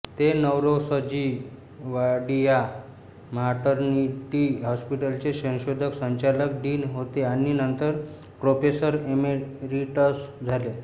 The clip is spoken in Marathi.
ते नौरोसजी वाडीया मॅटर्निटी हॉस्पिटलचे संशोधक संचालक डीन होते आणि नंतर प्रोफेसर इमेरीटस झाले